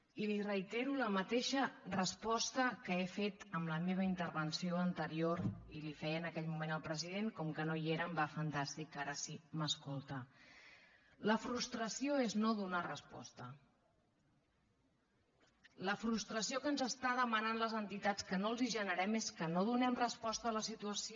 i li reitero la mateixa resposta que he fet en la meva intervenció anterior i li feia en aquell moment al president com que no hi era em va fantàsticament ara si m’escolta la frustració és no donar resposta la frustració que ens estan demanant les entitats que no els generem és que no donem resposta a la situació